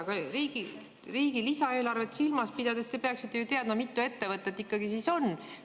Aga riigi lisaeelarvet silmas pidades te peaksite ju teadma, mitu ettevõtet ikkagi on.